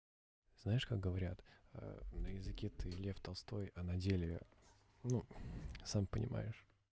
знаешь как говорят на языке ты лев толстой а на деле ну сам понимаешь